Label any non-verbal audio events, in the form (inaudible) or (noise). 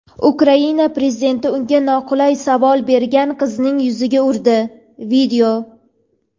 Ukraina prezidenti unga noqulay savol bergan qizning yuziga urdi. (video)